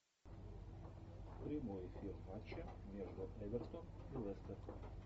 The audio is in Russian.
прямой эфир матча между эвертон и лестер